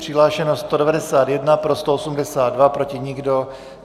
Přihlášeno 191, pro 182, proti nikdo.